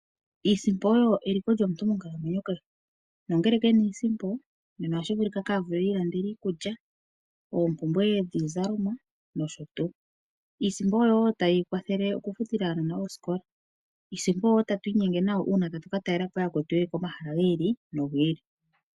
Iisimpo oyo eliko lyomuntu monkalamwenyo kehe nongele kena iisimpo nena otashivulika itiilandele iikulya nenge oompumbwe dhiizalomwa nosho tuu. Iisimpo oyo tayi kwathele okufutila aanasikola nosho tuu .iisimpo oyo tatu inyenge nayo uuna tatu katalelapo yakwetu yeli komahala gi ili nogi ili.